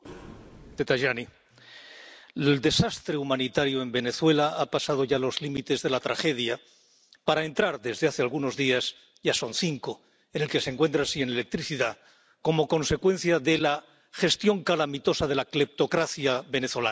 Señor presidente, el desastre humanitario en Venezuela ha traspasado ya los límites de la tragedia para entrar ―desde hace algunos días, ya son cinco-en una situación en la que se encuentra sin electricidad como consecuencia de la gestión calamitosa de la cleptocracia venezolana.